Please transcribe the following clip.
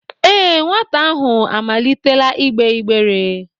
Ee, nwata ahụ amalitela igbe igbere